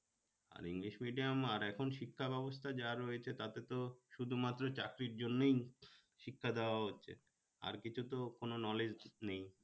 আর english medium আর এখন শিক্ষা ব্যবস্থা যা রয়েছে তাতে তো শুধুমাত্র চাকরির জন্যই শিক্ষা দেওয়া হচ্ছে আর কিছুতো কোন knowledge নেই